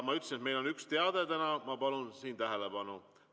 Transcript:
Ma ütlesin, et meil on täna üks teade, ma palun tähelepanu!